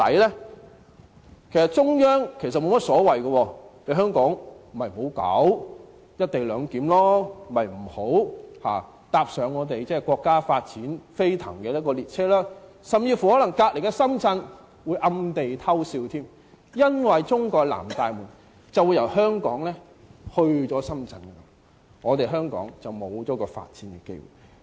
其實中央沒有所謂，香港可以不要"一地兩檢"，不要踏上國家發展飛騰的列車，甚至隔鄰的深圳可能會暗地裏偷笑，因為中國的南大門會由香港遷往深圳，香港便會失去發展機會。